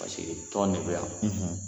Paseke tɔn de be yan